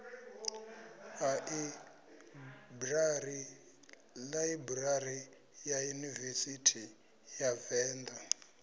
ḽaibrari ya yunivesithi ya venḓa